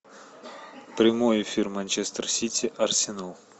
прямой эфир манчестер сити арсенал